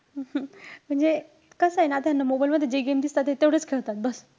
म्हणजे कसंय ना आता, ह्यांना mobile मध्ये जे games दिसतात, ते तेवढंच खेळतात बस.